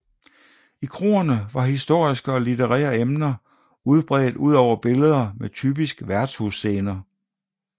I kroerne var historiske og litterære emner udbredt ud over billeder med typiske værtshusscener